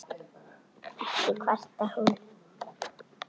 Ekki kvartar hún